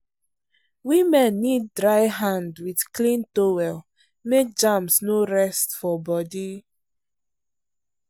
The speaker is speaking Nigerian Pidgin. women need dry hand with clean towel make germs no rest for body.